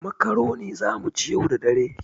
Makaroni za mu ci yau da dare.